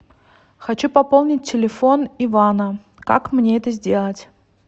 хочу пополнить телефон ивана как мне это сделать